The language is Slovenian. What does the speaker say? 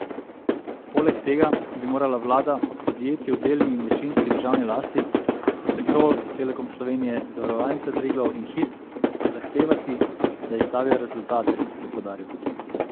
Poleg tega bi morala vlada od podjetij v delni in večinski državni lasti, kot so Petrol, Telekom Slovenije, Zavarovalnica Triglav in Hit, zahtevati, da izstavijo rezultate, je poudaril.